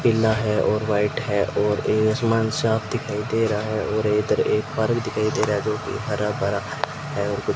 पीला है और व्हाइट है और ए आसमान साफ दिखाई दे रहा है और इधर एक फारम दिखाई दे रहा है जो की हर-भरा है।